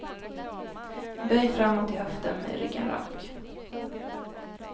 Böj framåt i höften med ryggen rak.